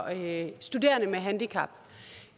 at